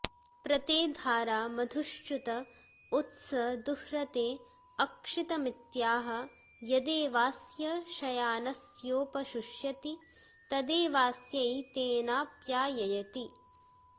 प्र ते॒ धारा॑ मधु॒श्चुत॒ उथ्सं॑ दुह्रते॒ अक्षि॑त॒मित्या॑ह॒ यदे॒वास्य॒ शया॑नस्योप॒ शुष्य॑ति॒ तदे॒वास्यै॒तेनाप्या॑ययति